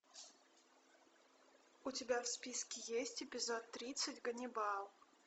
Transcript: у тебя в списке есть эпизод тридцать ганнибал